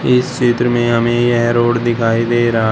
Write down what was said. इस चित्र में हमें यह रोड दिखाई दे रहा--